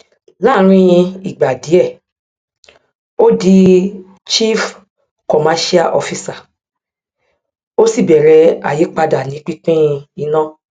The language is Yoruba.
láàrín ìgbà díẹ ó di chief commercial officer ó sì bẹrẹ àyípadà ní pínpín iná